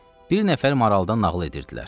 Bir nəfər maraldan nağıl edirdilər.